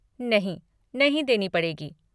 नहीं, नहीं देनी पड़ेगी।